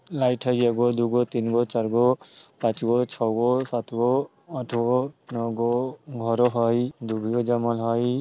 लाईट हई एगो दुगओ तीनगो चारगो पाँचगो छगो सातगो आठगो नोगो घर हई दुभीयो जमल हई।